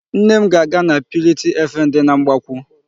Nne m ga-aga na purity FM dị na Mgbakwụ.